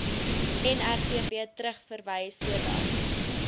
nrvp terugverwys sodat